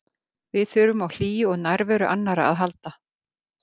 Við þurfum á hlýju og nærveru annarra að halda.